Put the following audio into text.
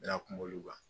N'a kuma olu kan